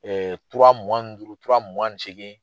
tura mugan ni duuru, tura mugan seegin